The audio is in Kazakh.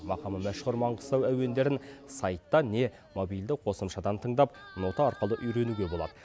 мақамы мәшһүр маңғыстау әуендерін сайттан не мобильді қосымшадан тыңдап нота арқылы үйренуге болады